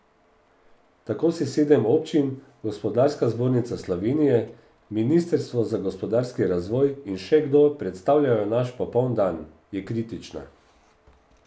Tako si sedem občin, Gospodarska zbornica Slovenije, ministrstvo za gospodarski razvoj in še kdo predstavljajo naš popoln dan, je kritična.